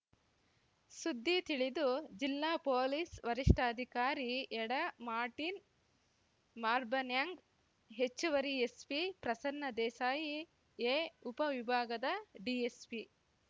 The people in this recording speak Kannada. ಸುದ್ದಿ ತಿಳಿದು ಜಿಲ್ಲಾ ಪೊಲೀಸ್ ವರಿಷ್ಠಾಧಿಕಾರಿ ಯಡಾ ಮಾರ್ಟಿನ್ ಮಾರ್ಬನ್ಯಾಂಗ್ ಹೆಚ್ಚುವರಿ ಎಸ್ಪಿ ಪ್ರಸನ್ನ ದೇಸಾಯಿ ಎ ಉಪ ವಿಭಾಗದ ಡಿಎಸ್ಪಿ